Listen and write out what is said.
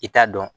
I t'a dɔn